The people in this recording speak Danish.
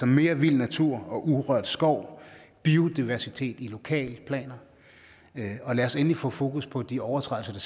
mere vild natur og urørt skov biodiversitet i lokalplaner lad os endelig få fokus på de overtrædelser der